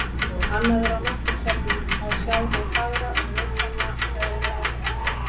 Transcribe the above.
Nú nú, annað er að á náttúrusöfnum má sjá hið fagra og nytsama eðli áfengisins.